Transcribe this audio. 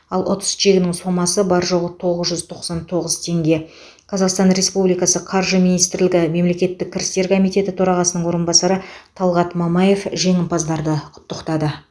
ал ұтыс чегінің сомасы бар жоғы тоғыз жүз тоқсан тоғыз теңге қазақстан республикасы қаржы министрлігі мемлекеттік кірістер комитеті төрағасының орынбасары талғат мамаев жеңімпазды құттықтады